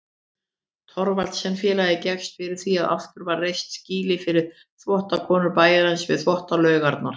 Thorvaldsensfélagið gekkst fyrir því að aftur var reist skýli fyrir þvottakonur bæjarins við Þvottalaugarnar.